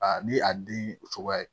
A ni a den cogoya ye